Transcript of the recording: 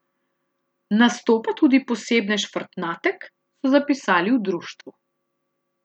Nastopa tudi posebnež Frtnatek, so zapisali v društvu.